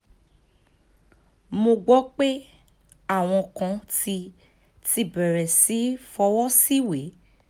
mo gbọ́ pé àwọn kan ti ti bẹ̀rẹ̀ sí í fọwọ́ síwèé